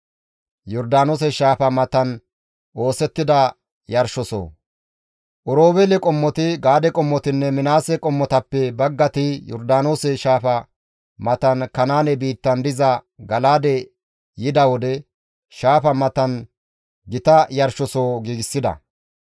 Oroobeele qommoti, Gaade qommotinne Minaase qommotappe baggati Yordaanoose shaafa matan Kanaane biittan diza Gala7aade yida wode shaafa matan gita yarshosoho giigsida.